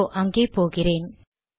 இதோ அங்கே போகிறேன்